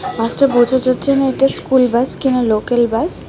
বাসটা বোঝা যাচ্ছে না এটা স্কুল বাস কিনা লোকাল বাস .